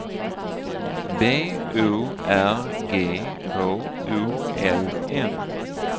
B O R G H O L M